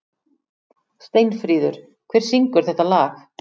Steinfríður, hver syngur þetta lag?